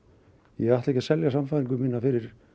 ég ætla ekki að selja sannfæringu mína fyrir